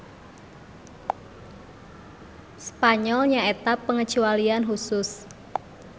Spanyol nyaeta pangecualian husus.